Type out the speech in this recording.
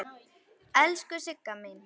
Elsku Sigga mín.